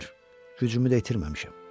Gücümü də itirməmişəm.